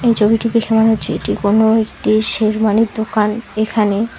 এই ছবিটি দেখে মনে হচ্ছে এটি কোনো একটি শেরওয়ানির দোকান এখানে--